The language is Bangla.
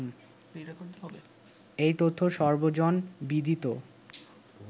এ-তথ্য সর্বজনবিদিত